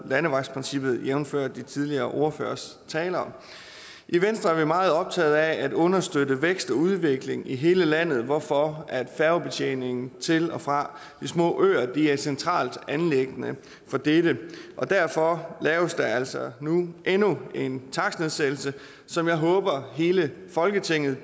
landevejsprincippet jævnfør de tidligere ordføreres taler i venstre er vi meget optaget af at understøtte vækst og udvikling i hele landet hvorfor færgebetjeningen til og fra de små øer er et centralt anliggende og derfor laves der altså nu endnu en takstnedsættelse som jeg håber hele folketinget